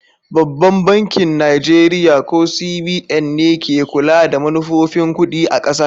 Babban bankin Najeriya, ko CBN, ne ke kula da manufofin kudi a kasar.